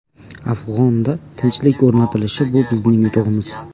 Afg‘onda tinchlik o‘rnatilishi bu bizning yutug‘imiz.